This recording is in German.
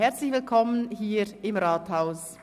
Herzlich willkommen hier im Rathaus!